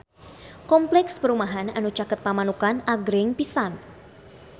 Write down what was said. Kompleks perumahan anu caket Pamanukan agreng pisan